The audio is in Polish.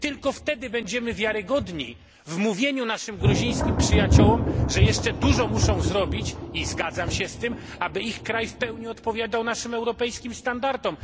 Tylko wtedy będziemy wiarygodni w mówieniu naszym gruzińskim przyjaciołom, że jeszcze dużo muszą zrobić i zgadzam się z tym aby ich kraj w pełni odpowiadał naszym europejskim standardom.